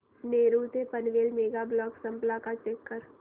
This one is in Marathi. नेरूळ ते पनवेल मेगा ब्लॉक संपला का चेक कर